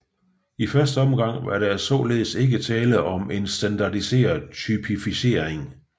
I første omgang var der således ikke tale om en standardiseret typificering